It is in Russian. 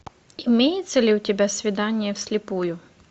имеется ли у тебя свидание вслепую